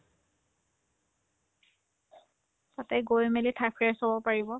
তাতে গৈ মেলি থাকে চব পাৰিব